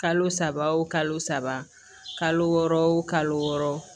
Kalo saba wo kalo saba kalo wɔɔrɔ wo kalo wɔɔrɔ